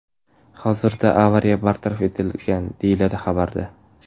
Hozirda avariya bartaraf etilgan”, deyiladi xabarda.